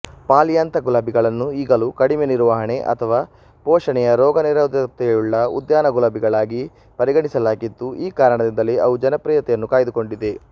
polyantha ಗುಲಾಬಿಗಳನ್ನು ಈಗಲೂ ಕಡಿಮೆನಿರ್ವಹಣೆ ಅಥವಾ ಪೋಷಣೆಯ ರೋಗನಿರೋಧಕತೆಯುಳ್ಳ ಉದ್ಯಾನ ಗುಲಾಬಿಗಳಾಗಿ ಪರಿಗಣಿಸಲಾಗಿದ್ದು ಈ ಕಾರಣದಿಂದಲೇ ಅವು ಜನಪ್ರಿಯತೆಯನ್ನು ಕಾಯ್ದುಕೊಂಡಿವೆ